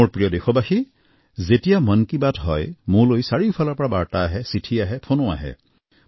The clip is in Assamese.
মোৰ প্ৰিয় দেশবাসী যেতিয়া মন কী বাত হয় মোলৈ চাৰিওফালৰ পৰা বাৰ্তা আহে চিঠি আহে ফোনো আহে